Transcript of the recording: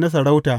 na sarauta.